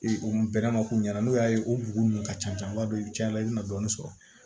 Ee o bɛnn'a ma k'u ɲɛna n'o y'a ye o bugun nun ka ca an b'a dɔn i bi cɛn i bi na dɔɔnin sɔrɔ